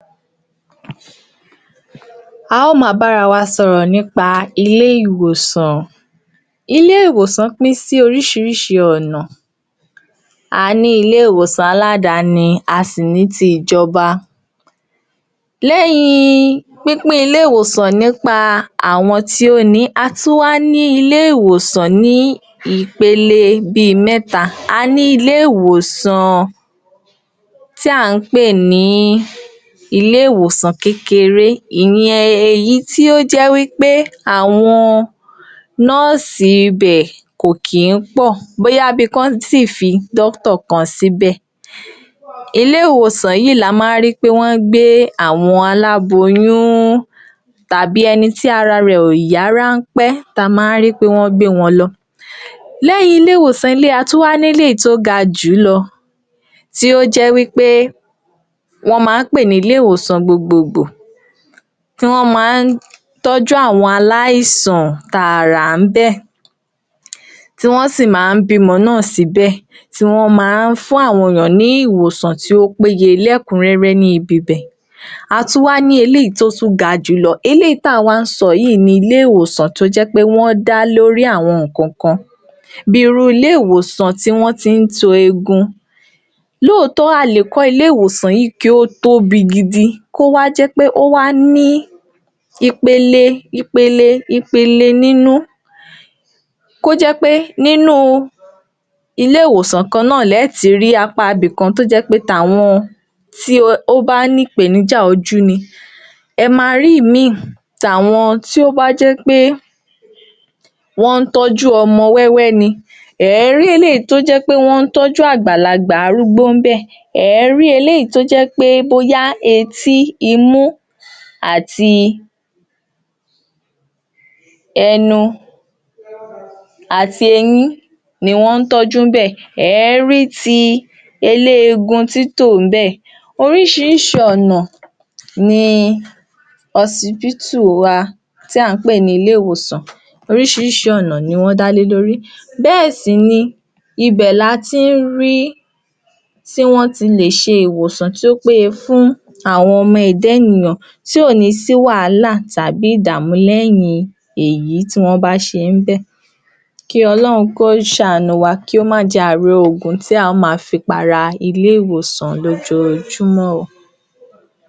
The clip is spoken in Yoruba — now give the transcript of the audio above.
a ó ma bára wa sọ̀rọ̀ nípa ilé-ìwòsàn ilé-ìwòsàn pín sí oríṣiríṣi ọ̀nà a ní ilé-ìwòsàn aláàdáni a sì ni ti ìjọ́ba lẹ́yìn pínpín ilé-ìwòsàn nípa àwọn tí ó ni a tún wa ní ilé-ìwòsàn ní ìpéle bí mẹ́ta a ní ilé-ìwòsàn tí à ń pè ní ilé-ìwòsàn kékeré èyí tí ó jẹ wí pé àwọn nóòsì ibẹ̀ kò kí ń pọ̀ bóyá kí wọ́n sì fi [doctor] kan síbẹ̀ ilé-ìwòsàn yíì la máa ń rí wí pé wọ́n gbé àwọn aláboyún tàbí ẹni tí ara rẹ̀ kòyá ránpé ta máa ń rí wí pé wọ́n gbé wọn lọ lẹ́yìn ilé-ìwòsàn eléyìí a tún wá ní eléyìí tó ga jù ú lọ tí ó jẹ́ wí pé wọ́n máa ń pè ní ilé-ìwòsàn gbogbogbò tí wọn máa ń tọ́jú àwọn aláìsàn tààrà níbẹ̀ tí wọ́n sì máa ń bímọ náà síbẹ̀ tí wọ́n máa ń fún àwọn èèyàn ní ìwòsàn tí ó péye lẹ́ẹ̀kun rẹ́rẹ́ ní ibi bẹ̀ a tún wá ní eléyìí tó tún ga jù lọ eléyìí tí awa ń sọ yìí ni ilé-ìwòsàn tí ó jẹ pe wọ́n dá lórí àwọn nǹkan-kan bí irú ilé-ìwòsàn tí wọ́n tí ń to egun lóòótọ́ a lè kó ilé-ìwòsàn yìí kí ó tóbi gidigbi kó wá jẹ́ pé ó wa ní ipele ipele ipele nínú kó jẹ́ pé nínú ilé-ìwòsàn kọọ́nà lẹ̀ ẹ́ ó ti apá ibi kan tí ó jẹ́ pé tí àwọn tó bá ní ìpènijà ojú ni ẹ ma rí ìmíì ti àwọn tó bá jẹ́ pé wọn ń tọ́jú ọmọ wẹ́wẹ́ ni ẹ ó rí eléyìí tó jẹ́ pé wọ́n ń tọ́jú àgbàlagbà arúgbó níbẹ̀ ẹ̀ ó rí eléyìí tó jẹ́ pé bóyá etí imú àti ẹnu àti eyín ni wọ́n ń tọ́jú níbẹ̀ ẹ̀ ó rí ti elégún títò níbẹ̀ oríṣiríṣi ọ̀nà ni hosipítù wà tí a ń pè ní ilé-ìwòsàn oríṣiríṣi ọ̀nà ni wọ́n dálé lórí bẹ́ẹ̀ sì ni ibẹ̀ ni á tí ń rí tí wọn tilè ṣe ìwòsàn tí ó péye fún àwọn ọmọ ẹ̀dá eniyan ti ò ní sí wàhálà tàbí ìdààmú lẹ́yìn èyí tí wọ́n bá ṣe níbẹ̀ kí Ọlọ́hun kí ó ṣàánú wa kí ó mà jẹ́kí a rí ogún ti a o má fi pàrà ilé-ìwòsàn lójóojúmọ́